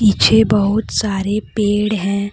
पीछे बहुत सारे पेड़ है।